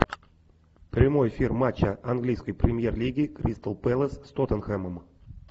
прямой эфир матча английской премьер лиги кристал пэлас с тоттенхэмом